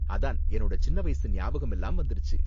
அதான் என்னோட சின்ன வயசு ஞாபகம் எல்லாம் வந்திருச்சு.